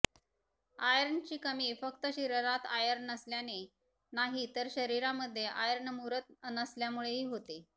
आयर्नची कमी फक्त शरीरात आयर्न नसल्याने नाही तर शरीरामध्ये आयर्न मुरत नसल्यामुळेही होते